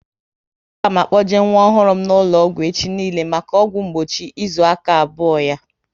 A ga m akpoje nwa ọhụrụ m n'ụlọ ọgwụ echi niile maka ọgwụ mgbochi ịzụ aka abụọ ya